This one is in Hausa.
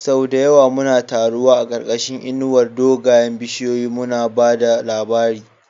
Sau da yawa muna taruwa a ƙarƙashin inuwar dogayen bishiyoyi, muna ba da labari.